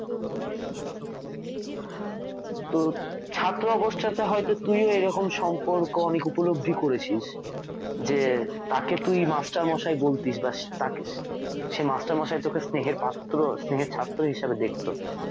তো ছাত্র অবস্থাতে হয়তো তুইও এরকম সম্পর্ক অনেক উপলব্ধি করেছিস যে তাকে তুই master মশাই বলতিস বা তাকে সে master মশাই তোকে স্নেহের পাত্রো স্নেহের ছাত্র হিসেবে দেখতো